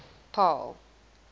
paarl